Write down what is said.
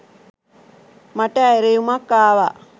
මට ඇරයුමක් ආවා.